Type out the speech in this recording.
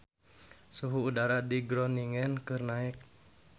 Suhu udara di Groningen keur naek